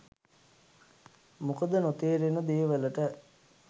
මොකද නොතේරෙන දේ වලට